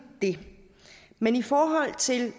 det men i forhold til